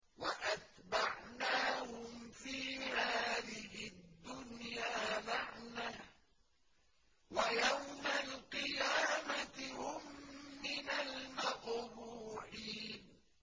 وَأَتْبَعْنَاهُمْ فِي هَٰذِهِ الدُّنْيَا لَعْنَةً ۖ وَيَوْمَ الْقِيَامَةِ هُم مِّنَ الْمَقْبُوحِينَ